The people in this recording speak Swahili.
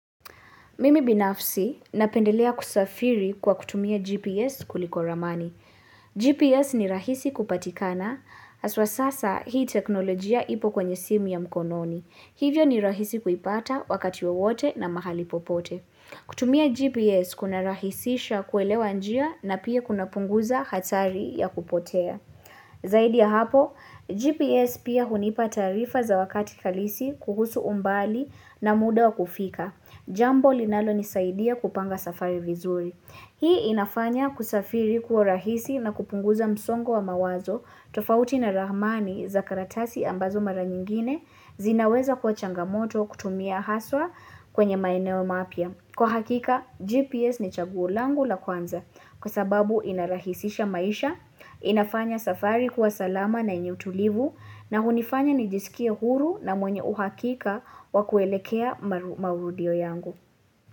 Mimi binafsi napendelea kusafiri kwa kutumia GPS kuliko ramani. GPS ni rahisi kupatikana aswa sasa hii teknolojia ipo kwenye simu ya mkononi. Hivyo ni rahisi kuipata wakati wowote na mahali popote. Kutumia GPS kuna rahisisha kuelewa njia na pia kuna punguza hatari ya kupotea. Zaidi ya hapo, GPS pia hunipa taarifa za wakati halisi kuhusu umbali na muda wa kufika. Jambo linalo nisaidia kupanga safari vizuri. Hii inafanya kusafiri kuwa rahisi na kupunguza msongo wa mawazo tofauti na ramani za karatasi ambazo mara nyingine zinaweza kwa changamoto kutumia haswa kwenye maeneo mapya. Kwa hakika, GPS ni chaguo langu la kwanza kwa sababu inarahisisha maisha, inafanya safari kuwa salama na yenye utulivu na hunifanya nijisikie huru na mwenye uhakika wa kuelekea maurudio yangu.